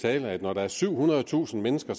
at når der er syvhundredetusind mennesker